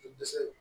Dɛsɛ